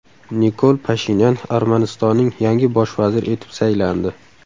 Nikol Pashinyan Armanistonning yangi bosh vaziri etib saylandi.